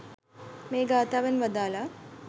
මේ ගාථාවෙන් වදාළා.